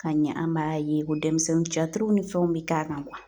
Ka ɲɛ an b'a ye ko dɛmisɛnnun catiriw ni fɛnw be k'a kan